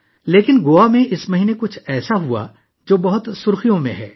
لیکن اس مہینے گوا میں کچھ ایسا ہوا، جو سرخیوں میں ہے